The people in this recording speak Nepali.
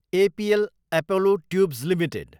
APL Apollo tubes Ltd